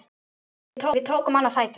Við tókum annað sætið.